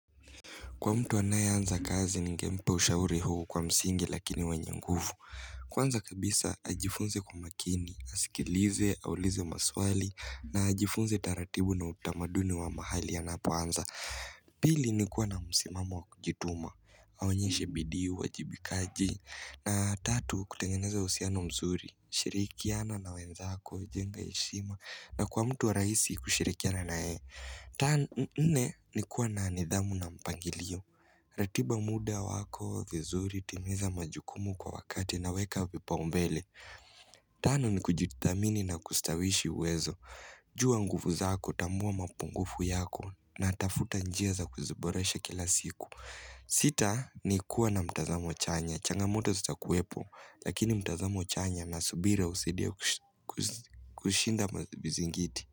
Kwa mtu anaye anza kazi ningempa ushauri huu kwa msingi lakini wanye nguvu. Kwanza kabisa ajifunze kwa makini, asikilize, aulize maswali, na ajifunze taratibu na utamaduni wa mahali anapo anza. Pili ni kua na msimamo wakujituma, aonyeshe bidi uajibikaji, na tatu kutengeneza uhusiano mzuri, shirikiana na wenzako, jenga heshima, na kwa mtu wa rahisi kushirikiana na yeye. Nne ni kua na nidhamu na mpangilio ratiba muda wako vizuri, timiza majukumu kwa wakati na weka vipaumbele Tano ni kujitamini na kustawishi uwezo jua nguvu zako, tambua mapungufu yako na tafuta njia za kuziboresha kila siku Sita ni kua na mtazamo chanya changamoto zitakuwepo, lakini mtazamo chanya na subira husaidia kushinda mazibizingiti.